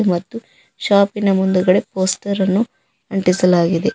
ಮತ್ತು ಶಾಪಿನ ಮುಂದುಗಡೆ ಪೋಸ್ಟರ್ ಅನ್ನು ಅಂಟಿಸಲಾಗಿದೆ.